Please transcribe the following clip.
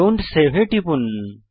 don't save এ টিপুন